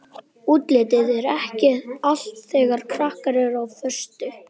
Útlitið er ekki allt þegar krakkar eru á föstu.